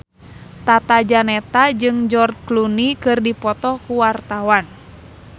Tata Janeta jeung George Clooney keur dipoto ku wartawan